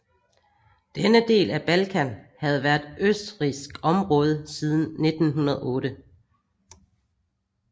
Denne del af Balkan havde været østrigsk område siden 1908